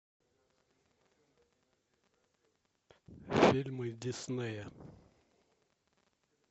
фильмы диснея